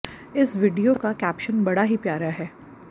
इस वीडियो का कैप्शन बड़ा ही प्यारा है